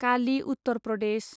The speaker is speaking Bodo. कालि उत्तर प्रदेश